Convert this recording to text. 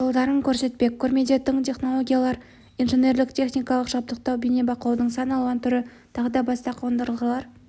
жолдарын көрсетпек көрмеде тың технологиялар инженерлік-техникалық жабдықтау бейнебақылаудың сан алуан түрі тағы да басқа қондырғылар